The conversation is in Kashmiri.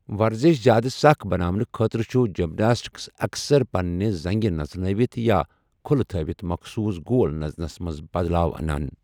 وَرزِش زِیادٕ سَخ بَناونہٕ خٲطرٕ، چُھ جِمناسٹکس اَکثَر پَننہِ زَنٛگہٕ نژنٲوِتھ یا كُھلہٕ تھٲوِتھ مخصوص گول نژنس منز بدلاو انان ۔